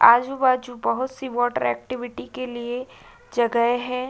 आजू-बाजू बहौत सी वाटर एक्टिविटी के लिए जगह है।